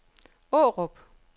Aarup